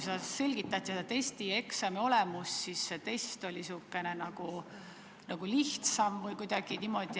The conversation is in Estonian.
Te selgitate siin testi ja eksami olemust ning tundub, et test on nagu lihtsam või kuidagi niimoodi.